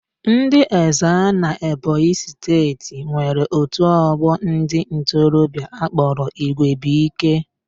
Ndị Ezza n'Ebonyi steeti nwere otu ọgbọ ndị ntorobịa akpọrọ Igwebuike